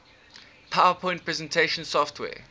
powerpoint presentation software